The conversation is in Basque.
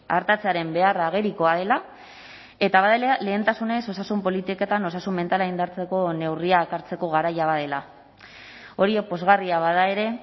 artatzearen beharra agerikoa dela eta badela lehentasunez osasun politiketan osasun mentala indartzeko neurriak hartzeko garaia badela hori pozgarria bada ere